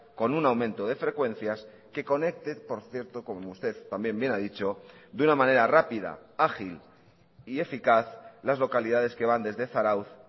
con un aumento de frecuencias que conecte por cierto como usted también bien ha dicho de una manera rápida ágil y eficaz las localidades que van desde zarautz